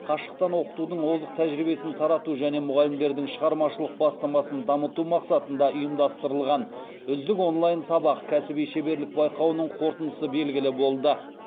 қашықтан оқытудың озық тәжірибесін тарату және мұғалімдердің шығармашылық бастамасын дамыту мақсатында ұйымдастырылған үздік онлайн сабақ кәсіби шеберлік байқауының қорытындысы белгілі болды